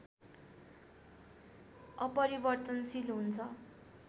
अपरिवर्तनशील हुन्छं।